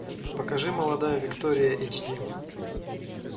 покажи молодая виктория эйч ди